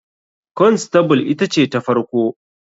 Constable ita ce ta farko.